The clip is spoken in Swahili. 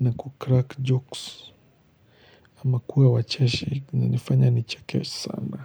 na kukrak jokes ama kuwa wacheshi kunanifanya ni cheke sana.